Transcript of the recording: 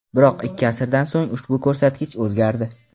Biroq ikki asrdan so‘ng ushbu ko‘rsatkich o‘zgardi.